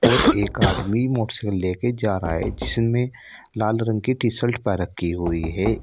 और एक आदमी मोटर साइकिल ले के जा रहा है जिसमें लाल रंग की टी शर्ट पहन रखी हुई है।